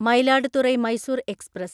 Mayiladuthurai Mysore express